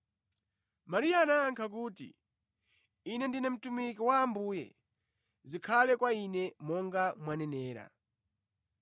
Mariya anayankha kuti, “Ine ndine mtumiki wa Ambuye. Zikhale kwa ine monga mwanenera.”